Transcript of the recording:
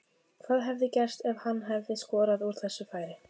Hvað hefði gerst ef hann hefði skorað úr þessu færi?